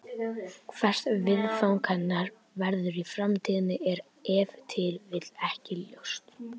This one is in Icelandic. Hvert viðfang hennar verður í framtíðinni er ef til vill ekki ljóst.